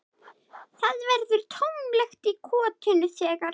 Það verður tómlegt í kotinu þegar